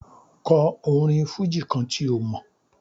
Kò orin fújì kan tí ó mọ̀.